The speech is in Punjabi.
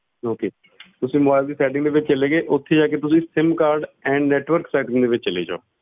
Okay ਤੁਸੀਂ mobile ਦੀ setting ਵਿੱਚ ਚਲੇ ਗਏ ਉੱਥੇ ਜਾ ਕੇ ਤੁਸੀਂ sim card and network setting ਦੇ ਵਿੱਚ ਚਲੇ ਜਾਓ।